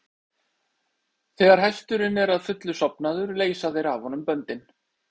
Þegar hesturinn er að fullu sofnaður leysa þeir af honum böndin.